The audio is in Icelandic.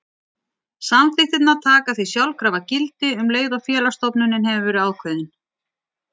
Samþykktirnar taka því sjálfkrafa gildi um leið og félagsstofnunin hefur verið ákveðin.